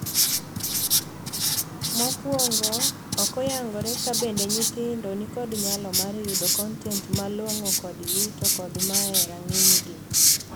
Mokuongo, ok oyangore ka bende nyithindo ni kod nyalo mar yudo kontent malong'o kodgi to kod mae e rang'ny gi.